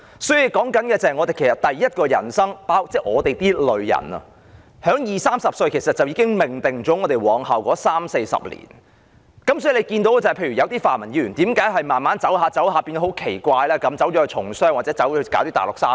所以，我們的第一人生，是在二三十歲時便已經命定了往後的三四十年，正如為何有些泛民議員慢慢發展下去時會很奇怪地從商或到內地做生意呢？